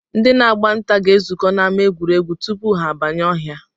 Ndị na-agba nta ga-ezukọ n'ama egwuregwu tupu ha abanye ọhịa